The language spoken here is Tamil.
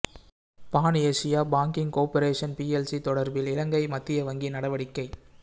பான் ஏசியா பாங்கிங் கோப்பிறேசன் பிஎல்சி தொடர்பில் இலங்கை மத்திய வங்கி நடவடிக்கை